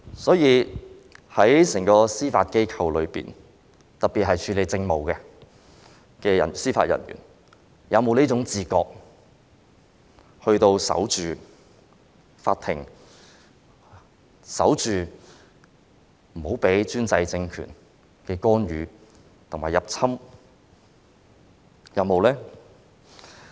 所以，整個司法機構中，特別是處理政務的人員，他們是否有這種要守着法庭的自覺，使法庭不受專制政權干預和入侵呢？